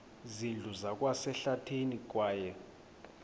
zindlu zikwasehlathini kwaye